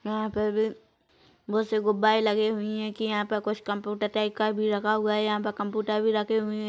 यहाँ पर भी बहुत से गुबारे लगे हुए है की यहाँ पे कुछ कम्प्यूटर टाइप का भी लगा हुआ है यहाँ पर कंप्यूटर भी रख--